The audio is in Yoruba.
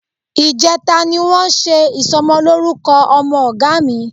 Ìjẹta ni wọ́n ṣe ìsọmọlórúkọ ọmọ Ọ̀gá mi